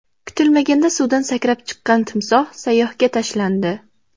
Kutilmaganda suvdan sakrab chiqqan timsoh sayyohga tashlandi .